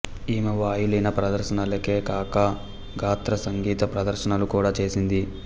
ఈమె వాయులీన ప్రదర్శనలే కాక గాత్ర సంగీత ప్రదర్శనలు కూడా చేసింది